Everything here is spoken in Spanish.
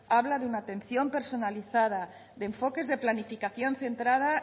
habla de una atención personalizada de enfoques de planificación centrada